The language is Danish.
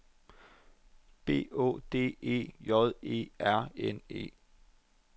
B Å D E J E R N E